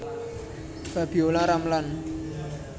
Febiolla Ramlan